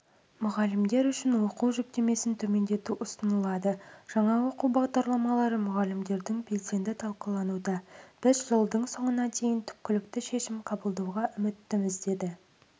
мұғалімдер үшін оқу жүктемесін төмендету ұсынылады жаңа оқу бағдарламалары мұғалімдердің белсенді талқылануда біз жылдың соңына дейін түпкілікті шешім қабылдауға үміттіміз деді